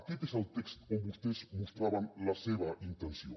aquest és el text on vostès mostraven la seva intenció